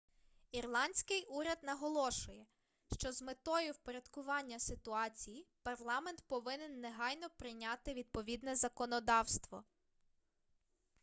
ірландський уряд наголошує що з метою впорядкування ситуації парламент повинен негайно прийняти відповідне законодавство